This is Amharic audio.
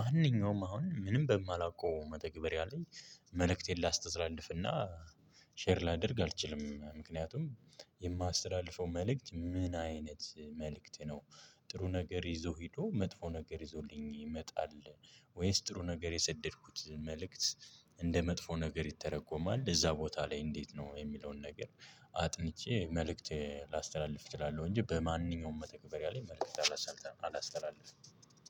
ማንኛውም አሁን ምንም በማላውቀው መተግበሪያ ላይ መልእክቴን ላስተዝላልፍ እና ሼር ላደርግ አልችልም ምክንያቱም የማስተላልፈው መልእክት ምን አይነት መልእክት ነው። ጥሩ ነገር ይዞ ሄዶ መጥፎ ነገር ይዞልኝ ይመጣል። ወይስ ጥሩ ነገር የሰደድኩት መልእክት እንደ መጥፎ ነገር ይተረጎማል እዛ ቦታ ላይ እንዴት ነው? የሚለውን ነገር አጥንቼ መልእክት ላስተላልፍ እችላለሁ። እንጂ በማንኛውም መተግበሪያ ላይ መልእክት አላሳላም አላስተላልፍም።